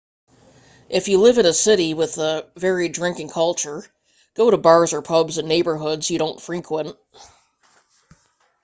if you live in a city with a varied drinking culture go to bars or pubs in neighborhoods you don't frequent